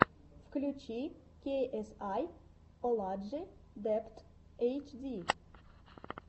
включи кей эс ай оладжи дебт эйч ди